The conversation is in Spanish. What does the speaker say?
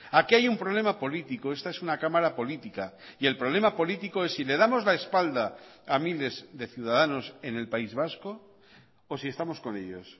aquí hay un problema político esta es una cámara política y el problema político es si le damos la espalda a miles de ciudadanos en el país vasco o si estamos con ellos